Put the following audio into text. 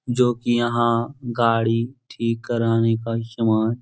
जो की यहाँ गाड़ी ठीक कराने का समान --